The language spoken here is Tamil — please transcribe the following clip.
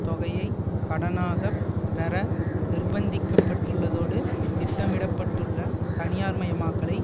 தொகையை கடனாக பெற நிர்ப்பந்திக்கப்பட்டுள்ளதோடு திட்டமிட பட்டுள்ள தனியார் மயமாக்கலை